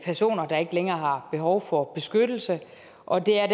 personer der ikke længere har behov for beskyttelse og det er